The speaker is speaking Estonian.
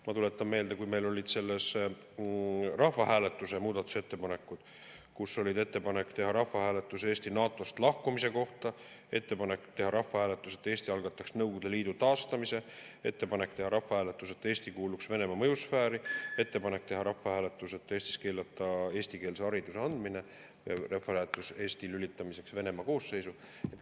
Ma tuletan meelde, kui meil olid rahvahääletuse muudatusettepanekud: ettepanek teha rahvahääletus Eesti NATO‑st lahkumise kohta, ettepanek teha rahvahääletus, et Eesti algataks Nõukogude Liidu taastamise, ettepanek teha rahvahääletus, et Eesti kuuluks Venemaa mõjusfääri, ettepanek teha rahvahääletus, et Eestis keelata eestikeelse hariduse andmine, ja rahvahääletus Eesti lülitamiseks Venemaa koosseisu.